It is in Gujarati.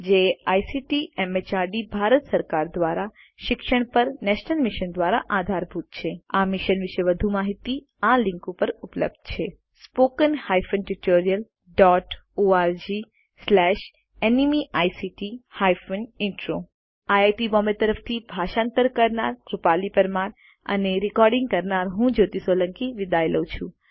જે આઇસીટી એમએચઆરડી ભારત સરકાર દ્વારા શિક્ષણ પર નેશનલ મિશન દ્વારા આધારભૂત છે આ મિશન વિશે વધુ માહીતી આ લીંક ઉપર ઉપલબ્ધ છે httpspoken tutorialorgNMEICT Intro IIT Bombay તરફથી ભાષાંતર કરનાર હું કૃપાલી પરમાર વિદાય લઉં છું